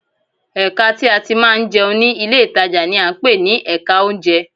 Ẹ̀ka tí a ti máa ń jẹun ní ilé ìtajà ni à ń pè ní Ẹ̀ka oúnjẹ